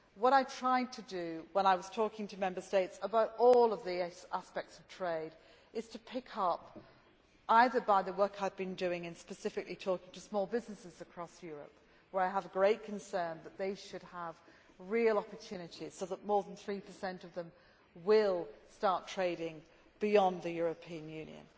What I tried to do while I was talking to Member States about all of these aspects of trade was to pick up, either by the work I had been doing and specifically, talking to small businesses across Europe, where I have a great concern that they should have real opportunities so that more than 3 of them will start trading beyond the European Union